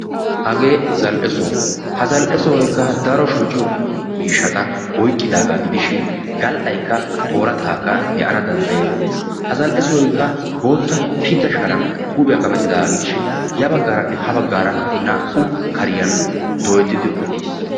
Hagee zal''e soho. Ha zal''e soy oorataa demmiyo soho gidishin gal'aakka oorattaakka be'ana dandayettees. Ha zal'e sohoy bootta sharan kametti uttidaaga gidishin naa''u kariyan dooyettidi uttiis.